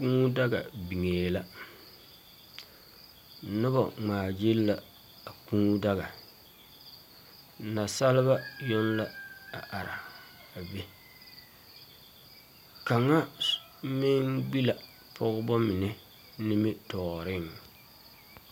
Kuu daga biŋee la noba ŋmaa gyilli la a kuu daga naasalba yoŋ la a are be kaŋa meŋ be la pɔgeba mine nimitɔɔreŋ.